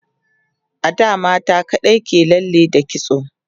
a da mata kaɗai ke lalle da kitso